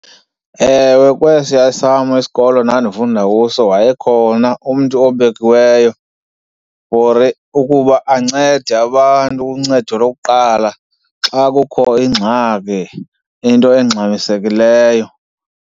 Ewe, kwesiya esam isikolo endandifunda kuso wayekhona umntu obekiweyo for ukuba ancede abantu, uncedo lokuqala, xa kukho ingxaki into engxamisekileyo.